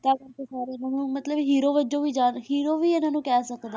ਤਾਂ ਹੀ ਤਾਂ ਸਾਰੇ ਇਹਨਾਂ ਨੂੰ ਮਤਲਬ hero ਵਜੋਂ ਵੀ ਯਾਦ hero ਵੀ ਇਹਨਾਂ ਨੂੰ ਕਹਿ ਸਕਦੇ,